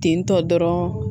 Tentɔ dɔrɔn